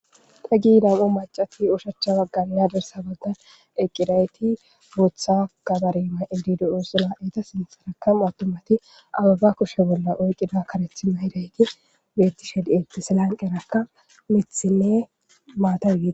Da gi nam7u macati ushachcha baggannadersa baggan eqqidayti buutha gabarima ildido7osula eeta sinsaraka mawtomati ababa koshe bolla oyqida karethi mahidayti beetti shedeti silanqerakka mithinne maatawie